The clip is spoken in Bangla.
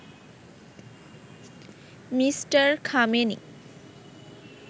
মি. খামেনি